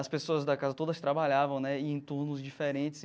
As pessoas da casa todas trabalhavam né em turnos diferentes.